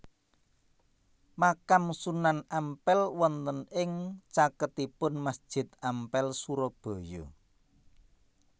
Makam Sunan Ampel wonten ing caketipun Masjid Ampel Surabaya